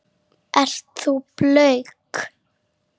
Ert þú blönk?